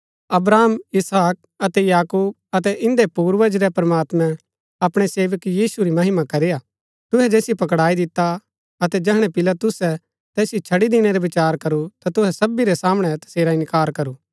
अब्राहम इसहाक अतै याकूब अतै इन्दै पूर्वज रै प्रमात्मैं अपणै सेवक यीशु री महिमा करी हा तुहै जैसिओ पकडाई दिता अतै जैहणै पिलातुसै तैसिओ छड़ी दिणै रा विचार करू ता तुहै सबी रै सामणै तसेरा इन्कार करू